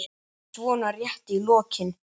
svona rétt í lokin.